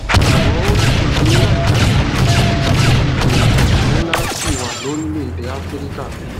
àmó ó kìlò pé láìka ìbísí yìí sí ìyàtò ńlá ṣì wà lórílèèdè áfíríkà